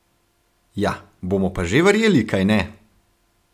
Ja, bomo pa že verjeli, kajne!